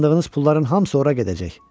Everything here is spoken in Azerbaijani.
Qazandığınız pulların hamısı ora gedəcək.